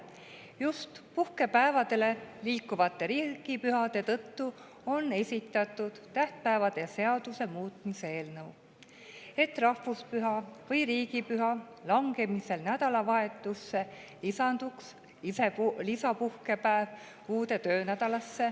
Just puhkepäevadele liikuvate riigipühade tõttu on esitatud tähtpäevade seaduse muutmise seaduse eelnõu, et rahvuspüha või riigipüha langemisel nädalavahetusele lisanduks lisapuhkepäev uude töönädalasse.